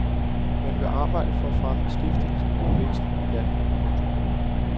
Man vil arbejde for at fremme beskæftigelsen og væksten i landet. punktum